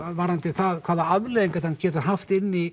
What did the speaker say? varðandi það hvaða afleiðingar þetta gæti haft inn í